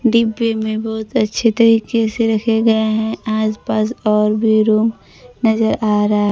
डिब्बे में बहुत अच्छे तरीके से रखे गए हैं आज पास और भी रूम नजर आ रहा--